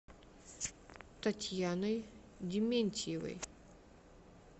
татьяной дементьевой